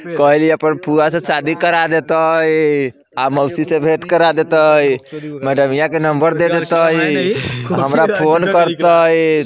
कैह दिया पर फुआ से शादी करा देता देतइ | अ मोसी से भेट करा देतइ मैडमिया के नंबर दे देतइ हमरा फोन करतइ |